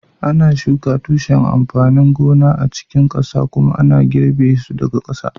ana shuka tushen amfanin gona a cikin ƙasa kuma ana girbe su daga ƙasa